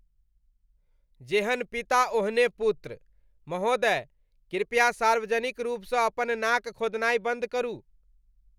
जेहन पिता, ओहने पुत्र। महोदय, कृपया सार्वजनिक रूपसँ अपन नाक खोधनाय बन्द करू।